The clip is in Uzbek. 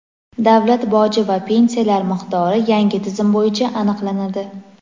davlat boji va pensiyalar miqdori yangi tizim bo‘yicha aniqlanadi.